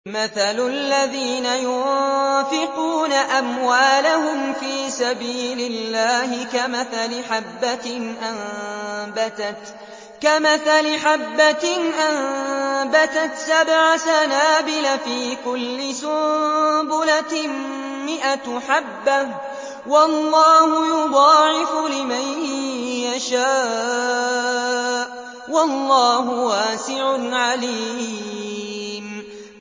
مَّثَلُ الَّذِينَ يُنفِقُونَ أَمْوَالَهُمْ فِي سَبِيلِ اللَّهِ كَمَثَلِ حَبَّةٍ أَنبَتَتْ سَبْعَ سَنَابِلَ فِي كُلِّ سُنبُلَةٍ مِّائَةُ حَبَّةٍ ۗ وَاللَّهُ يُضَاعِفُ لِمَن يَشَاءُ ۗ وَاللَّهُ وَاسِعٌ عَلِيمٌ